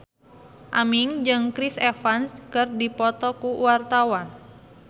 Aming jeung Chris Evans keur dipoto ku wartawan